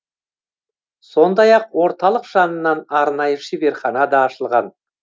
сондай ақ орталық жанынан арнайы шеберхана да ашылған